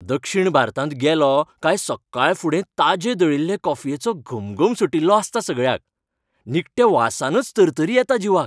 दक्षीण भारतांत गेलों काय सक्काळफुडें ताजे दळिल्ले कॉफयेचो घमघम सुटिल्लो आसता सगळ्याक. निखट्या वासानच तरतरी येता जिवाक.